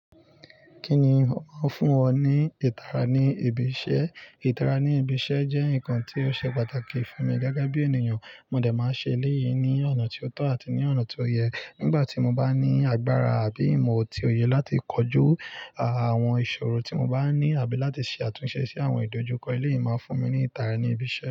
Kí ni ó ń fún iwo ní ìtara ní ibi iṣẹ́? Ìtara ní ibi iṣẹ́ jẹ́ nǹkan tí ó ṣe pàtàkì fún mi gẹ́gẹ́ bí ènìyàn, mo de máa ṣe eléyìí ní ọ̀nà tí ó tọ́ àti ní ọ̀nà tí ó yẹ. Nígbà tí mo bá ní agbára àbí imo ti òye láti kojú àwọn ìṣòro tí mo bá ní àbí láti ṣe àtúnṣe sí àwọn ìdojúkọ, eléyìí máa fún mi ní ìtara ní ibi iṣẹ́.